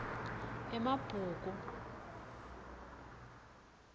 emabhuku